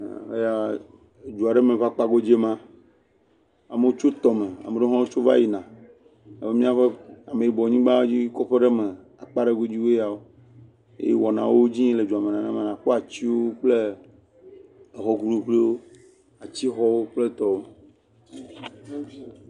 Eya, du aɖe me ƒe akpa godzi ema, ame ɖewo tso tɔme, ame ɖewo hã tso va yina, abe ameyibɔ kpadzi, kɔƒe ɖe me, akpa ɖe godziwoe yawo, eye wɔna ɖewo le edziyim le dua me nenema, àkpɔ atiwo kple exɔ kuikuiwo, atixɔwo kple etɔwo,